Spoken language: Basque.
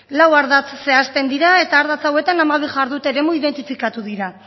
lau ardatz zehazten dira eta ardatz hauetan hamabi jardute eremu identifikatu dira